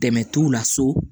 Dɛmɛ t'u la so